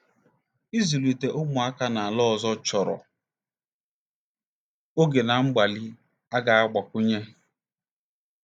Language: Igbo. Ịzụlite ụmụaka n'ala ọzọ chọrọ oge na mgbalị a ga-agbakwunye.